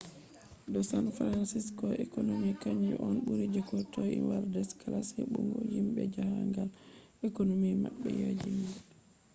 do san francisco’s economy kanju on ɓuri je ko toi world-class heɓugo himɓe jahangal economy maɓɓe yaajinga